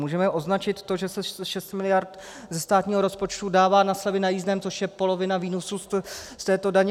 Můžeme označit to, že se 6 miliard ze státního rozpočtu dává na slevy na jízdném, což je polovina výnosů z této daně.